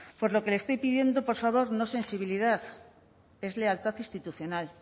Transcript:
por lo que le estoy pidiendo por favor no sensibilidad es lealtad institucional